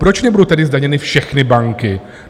Proč nebudou tedy zdaněny všechny banky?